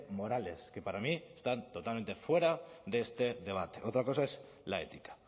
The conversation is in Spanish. morales que para mí están totalmente fuera de este debate otra cosa es la ética